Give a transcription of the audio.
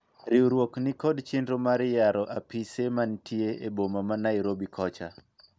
Riwruok nikod chenro mar yaro apise manitie e boma ma Nairobi kocha